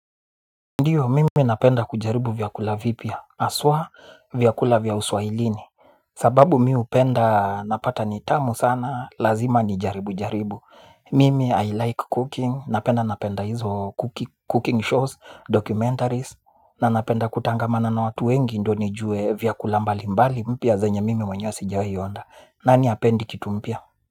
Ndiyo mimi napenda kujaribu vyakula vipya, aswa vyakula vyauswahilini. Sababu mi upenda napata nitamu sana, lazima ni jaribu jaribu. Mimi I like cooking, napenda napenda hizo cooking shows, documentaries. Na napenda kutangamana na watu wengi ndo nijue vyakula mbali mbali mpya zanyo mimi wanyo sijawaionda. Nani hapendi kitu mpya?